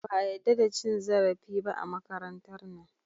Ba a yadda da cin zarafi ba a makarantar nan.